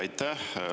Aitäh!